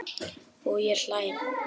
Og ég hlæ.